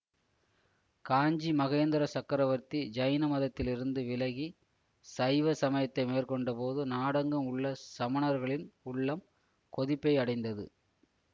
காஞ்சி மகேந்திர சக்கரவர்த்தி ஜைன மதத்திலிருந்து விலகி சைவ சமயத்தை மேற்கொண்டபோது நாடெங்கும் உள்ள சமணர்களின் உள்ளம் கொதிப்பை அடைந்தது